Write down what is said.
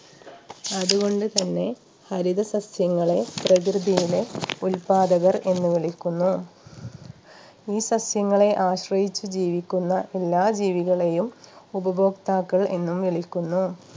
അതുകൊണ്ട് തന്നെ ഹരിത സസ്യങ്ങളെ പ്രകൃതിയിലെ ഉൽപാദകർ എന്ന് വിളിക്കുന്നു ഈ സസ്യങ്ങളെ ആശ്രയിച്ച് ജീവിക്കുന്ന എല്ലാ ജീവികളെയും ഉപഭോക്താക്കൾ എന്നും വിളിക്കുന്നു